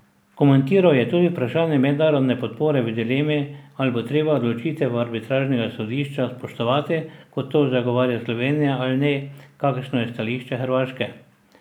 Komentiral je tudi vprašanje mednarodne podpore v dilemi, ali bo treba odločitev arbitražnega sodišča spoštovati, kot to zagovarja Slovenija, ali ne, kakršno je stališče Hrvaške.